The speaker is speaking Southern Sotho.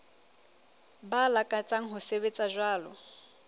ba lakatsang ho sebetsa jwalo